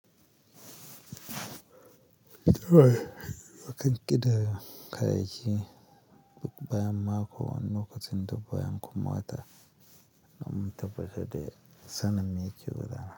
To mu kan ƙidaya kayayyaki duk bayan mako wani lokacin duk bayan kuma wata don mu tabbatar da sanin me ke gudana.